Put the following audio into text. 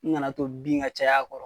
N kan'a to bin ka caya a kɔrɔ.